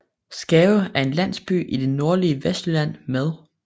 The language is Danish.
Skave er en landsby i det nordlige Vestjylland med